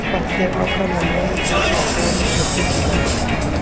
Skottið er ákaflega loðið, oftast gráleitt með hvítum hringjum.